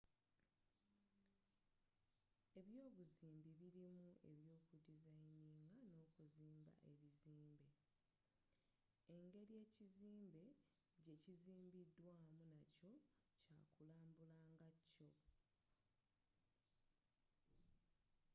ebyobuzimbi birimu ebyoku designing n'okuzimba ebizimbe engeri ekizimbe gye kizimbiddwamu nakyo kyakulambula ngakyo